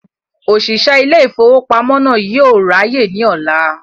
Òṣìṣẹ́ ilé ìfowópamọ́ náà yóò ráyè ní ọ̀la